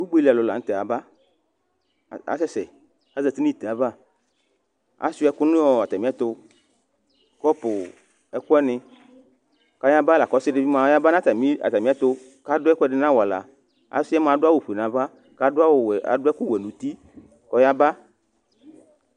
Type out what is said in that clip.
Ugbeli alʋ la nʋ tɛ ayaba Asɛ sɛ Azǝtɩ nʋ ite ava Asʋɩa ɛkʋ nʋ atamɩ ɛtʋ Kɔpʋ, ɛkʋ wanɩ, kʋ ayaba, lakʋ ɔsɩ dɩbɩ mʋa ɔyabanʋ atamɩ ɛtʋ, kʋ adʋ ɛkʋɛdɩ nʋ awala Ɔsɩ yɛ mʋa adʋ awʋfue nʋ ava, kʋ adʋ ɛkʋwɛ nʋ uti, kʋ ɔyaba